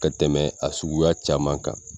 Ka tɛmɛ a suguya caman kan